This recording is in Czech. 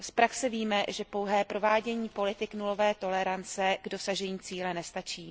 Z praxe víme, že pouhé provádění politik nulové tolerance k dosažení cíle nestačí.